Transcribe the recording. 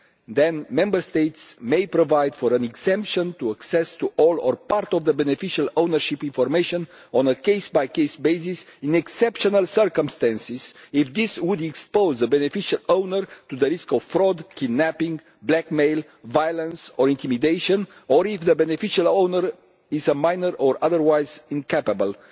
Then Member States may provide for an exemption to access to all or part of the beneficial ownership information on a case by case basis in exceptional circumstances, if this would expose the beneficial owner to the risk of fraud, kidnapping, blackmail, violence or intimidation, or if the beneficial owner is a minor or otherwise incapable.